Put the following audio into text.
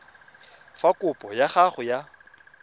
fa kopo ya gago ya